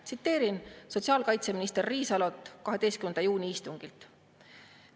Tsiteerin sotsiaalkaitseminister Riisalot 12. juuni istungilt.